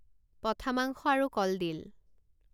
পঠা মাংস আৰু কলডিল